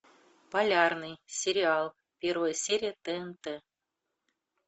полярный сериал первая серия тнт